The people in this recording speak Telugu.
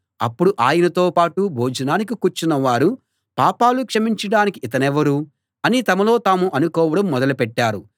అప్పుడు ఆయనతో పాటు భోజనానికి కూర్చున్న వారు పాపాలు క్షమించడానికి ఇతనెవరు అని తమలో తాము అనుకోవడం మొదలు పెట్టారు